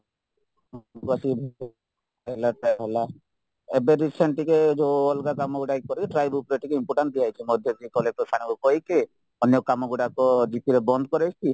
ହେଲା try ହେଲା ଏବେ recent ଟିକେ ଯୋଉ ଅଲଗା କାମ ଇଏ କରେ try bookରେ ଟିକେ important ଦିଆହେଇଛି ମଝିରେ collector sirଙ୍କୁ କହିକି ଅନ୍ୟ କାମ ଗୁଡାକ gp ରେ ବନ୍ଦ କରେଇଛି